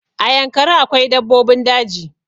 A yankari akwai dabbobin daji